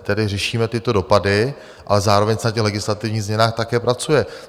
Tedy řešíme tyto dopady, ale zároveň se na těch legislativních změnách také pracuje.